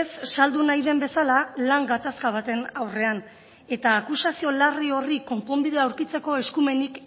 ez saldu nahi den bezala lan gatazka baten aurrean eta akusazio larri horri konponbidea aurkitzeko eskumenik